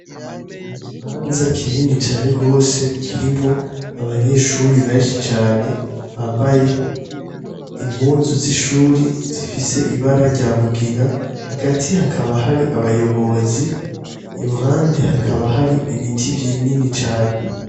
Mu kibanza kinini cane rwose kirimwo abanyeshuri benshi cane bambaye impuzu z'ishuri zifise ibara rya mugina hagati hakaba hari abayobozi i ruhande hakaba hari ibiti vy'inini cane.